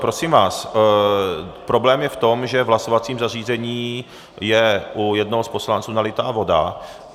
Prosím vás, problém je v tom, že v hlasovacím zařízení je u jednoho z poslanců nalitá voda.